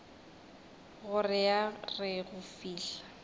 gore a re go fihla